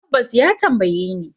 Tabbas, ya tambaye ni.